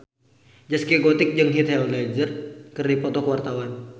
Zaskia Gotik jeung Heath Ledger keur dipoto ku wartawan